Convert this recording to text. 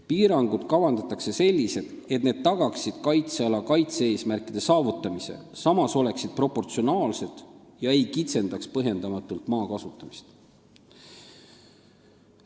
Piirangud kavandatakse sellised, et need tagaksid kaitseala kaitse-eesmärkide saavutamise, samas oleksid proportsionaalsed ega kitsendaks põhjendamatult maa kasutamist.